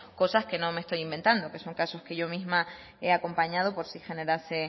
cosas que no me estoy inventando que son casos que yo misma he acompañado por si generase